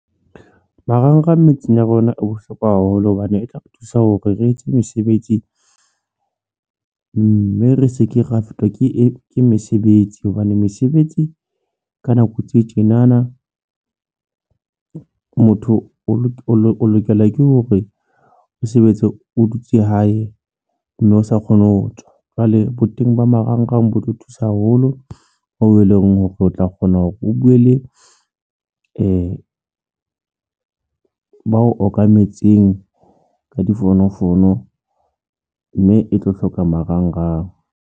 Marangrang metseng ya rona e bohlokwa haholo hobane e tla re thusa hore re etse mesebetsi, mme re se ke ra fetwa ke mesebetsi hobane mesebetsi ka nako tse tjena na motho o lokela ke hore o sebetse o dutse hae mme o sa kgone ho tswa jwale bo teng ba marangrang bo re thusa haholo hoo e leng hore o tla kgona hore o buwe le ba okametseng ka difonofono mme e tlo hloka marangrang.